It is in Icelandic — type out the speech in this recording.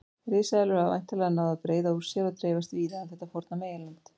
Risaeðlur hafa væntanlega náð að breiða úr sér og dreifast víða um þetta forna meginland.